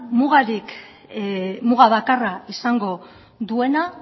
muga bakarra izango duena